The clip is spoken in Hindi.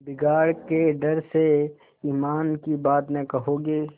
बिगाड़ के डर से ईमान की बात न कहोगे